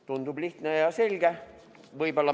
" Tundub lihtne ja selge.